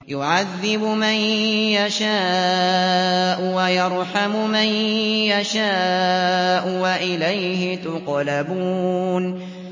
يُعَذِّبُ مَن يَشَاءُ وَيَرْحَمُ مَن يَشَاءُ ۖ وَإِلَيْهِ تُقْلَبُونَ